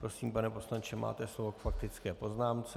Prosím, pane poslanče, máte slovo k faktické poznámce.